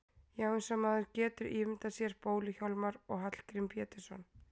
Já, eins og maður getur ímyndað sér Bólu-Hjálmar og Hallgrím Pétursson.